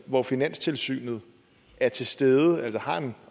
hvor finanstilsynet er til stede altså har en